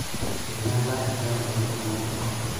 Einyala enchan ntokitin kumok.